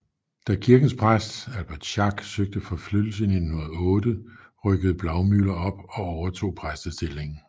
Da kirkens præst Albert Schack søgte forflyttelse i 1908 rykkede Blaumüller op og overtog præstestillingen